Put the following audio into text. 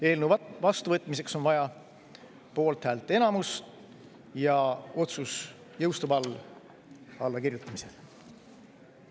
Eelnõu vastuvõtmiseks on vaja poolthäälte enamust ja otsus jõustub allakirjutamisel.